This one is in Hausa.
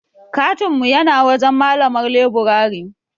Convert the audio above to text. katin mu yana wajen malamar leburare.